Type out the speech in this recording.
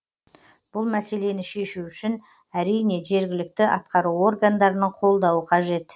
бұл мәселені шешу үшін әрине жергілікті атқару органдарының қолдауы қажет